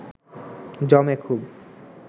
জমে খুব